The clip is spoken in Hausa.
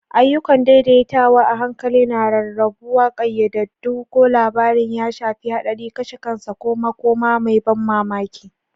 Ayyukan daidaitawa a hankali na rarrabuwa, ƙayyadaddun ko labarin ya shafi haɗari, kashe kansa, ko makoma mai ban mamaki.